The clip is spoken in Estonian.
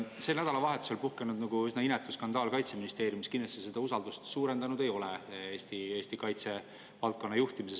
Sel nädalavahetusel puhkenud üsna inetu skandaal Kaitseministeeriumis kindlasti Eesti kaitsevaldkonna juhtimise vastu usaldust suurendanud ei ole.